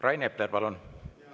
Rain Epler, palun!